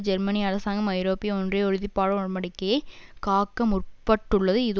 ஜெர்மனிய அரசாங்கம் ஐரோப்பிய ஒன்றிய உறுதிப்பாடு உடன் படிக்கையை காக்க முற்பட்டுள்ளது இது